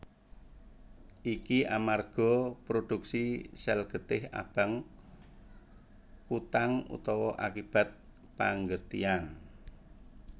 Iki amarga prodhuksi sèl getih abang kutang utawa akibat panggetihan